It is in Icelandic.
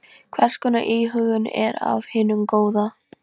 Hvers konar íhugun er af hinu góða.